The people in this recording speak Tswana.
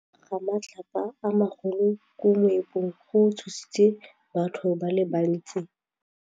Go wa ga matlapa a magolo ko moepong go tshositse batho ba le bantsi.